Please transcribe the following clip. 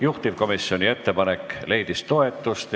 Juhtivkomisjoni ettepanek leidis toetust.